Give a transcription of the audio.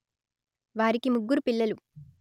వారికి ముగ్గురు పిల్లలు